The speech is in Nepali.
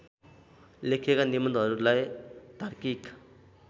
लेखिएका निबन्धहरूलाई तार्किक